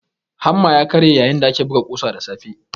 Hamma ya karye yayin da ake buga kusa da safe.